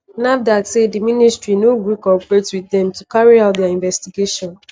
nafdac say di ministry no gree cooperate wit dem to carry out dia investigation.